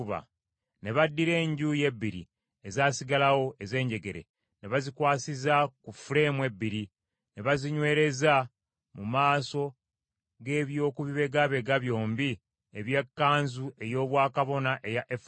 Ne baddira enjuuyi ebbiri ezaasigalawo ez’enjegere ne bazikwasiza ku fuleemu ebbiri, ne bazinywereza mu maaso g’eby’okubibegabega byombi eby’ekkanzu ey’obwakabona eya efodi.